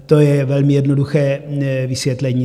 To je velmi jednoduché vysvětlení.